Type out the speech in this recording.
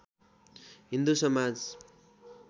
Hindu Samaj